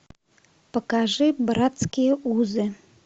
покажи братские узы